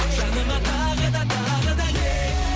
жаныма тағы да тағы да кел